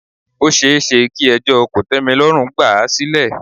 Ó ṣeéṣe kí ẹjọ́ kòtẹ́milọ́rùn gbà à sílẹ̀.